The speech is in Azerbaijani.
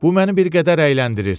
Bu məni bir qədər əyləndirir.